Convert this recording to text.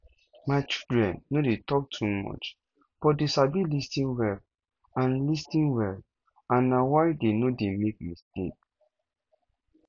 my children no dey talk too much but dey sabi lis ten well and lis ten well and na why dey no dey make mistake